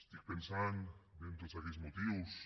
estic pensant bé en tots aquells motius